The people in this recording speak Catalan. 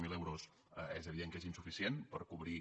zero euros és evident que són insuficients per cobrir